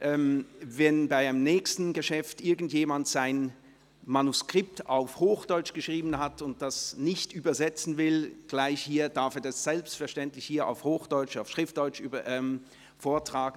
Wenn bei einem nächsten Geschäft irgendjemand sein Manuskript auf Hochdeutsch geschrieben hat und das nicht gleich hier übersetzten will, darf er das hier selbstverständlich auf Hochdeutsch, auf Schriftdeutsch vortragen.